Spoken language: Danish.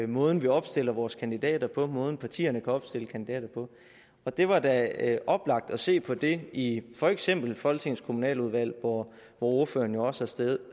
måden vi opstiller vores kandidater på måden partierne kan opstille kandidater på og det var da oplagt at se på det i for eksempel folketingets kommunaludvalg hvor ordføreren jo også har siddet